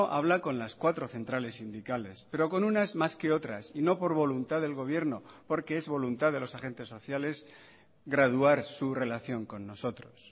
habla con las cuatro centrales sindicales pero con unas más que otras y no por voluntad del gobierno porque es voluntad de los agentes sociales graduar su relación con nosotros